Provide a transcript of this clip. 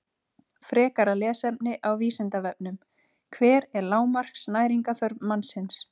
Frekara lesefni á Vísindavefnum: Hver er lágmarks næringarþörf mannsins?